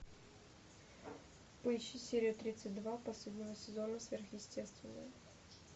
поищи серию тридцать два последнего сезона сверхъестественное